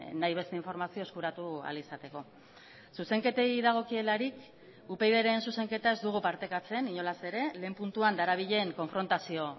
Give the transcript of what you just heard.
nahi beste informazio eskuratu ahal izateko zuzenketei dagokielarik upydren zuzenketa ez dugu partekatzen inolaz ere lehen puntuan darabilen konfrontazio